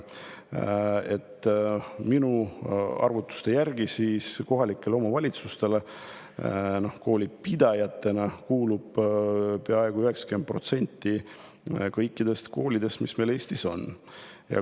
Minu arvutuste järgi kuulub kohalikele omavalitsustele koolipidajatena peaaegu 90% kõikidest koolidest, mis meil Eestis on.